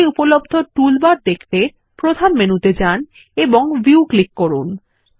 draw তে উপলব্ধ toolbar দেখতে প্রধান মেনুতে যান এবং ভিউ ক্লিক করুন